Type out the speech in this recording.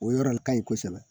O yɔrɔ ka ɲi kosɛbɛ